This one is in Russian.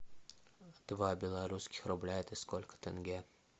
два белорусских рубля это сколько тенге